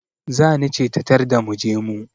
Zani ce ta tarda mu je mu